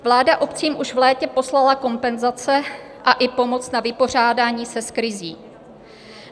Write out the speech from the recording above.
Vláda obcím už v létě poslala kompenzace a i pomoc na vypořádání se s krizí.